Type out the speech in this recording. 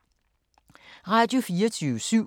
Radio24syv